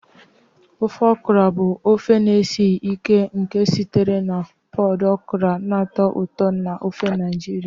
Ofe okra bụ ofe na-esighị ike nke sitere na pọd okra na-atọ ụtọ n'ofe Naijiria.